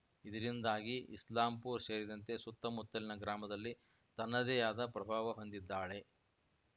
ಇದರಿಂದಾಗಿ ಇಸ್ಲಾಂಪೂರ ಸೇರಿದಂತೆ ಸುತ್ತಮುತ್ತಲಿನ ಗ್ರಾಮದಲ್ಲಿ ತನ್ನದೇಯಾದ ಪ್ರಭಾವ ಹೊಂದಿದ್ದಾಳೆ